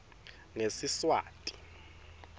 ngesiswati